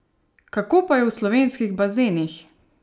Kako pa je v slovenskih bazenih?